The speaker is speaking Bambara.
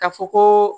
Ka fɔ ko